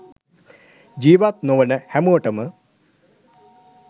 ජීවත් නොවන හැමෝටම